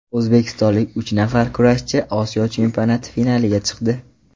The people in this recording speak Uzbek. O‘zbekistonlik uch nafar kurashchi Osiyo chempionati finaliga chiqdi.